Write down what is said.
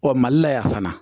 Ɔ mali la yan fana